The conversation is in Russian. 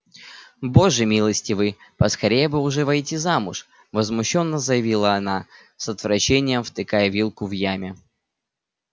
боже милостивый поскорее бы уж выйти замуж возмущённо заявила она с отвращением втыкая вилку в яме